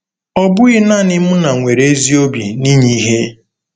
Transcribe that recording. Ọ bụghị naanị Muna nwere ezi obi n'inye ihe.